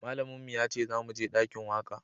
Malamin mu ya ce za mu je dakin waka